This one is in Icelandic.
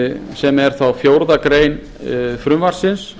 sem er þá fjórðu grein frumvarpsins